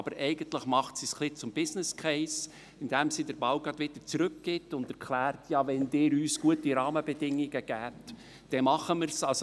Aber eigentlich macht sie es ein bisschen zum «Business Case», indem sie den Ball zurückspielt und erklärt: «Wenn Sie uns gute Rahmenbedingungen geben, machen wir es.».